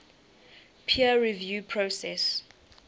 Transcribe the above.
peer review process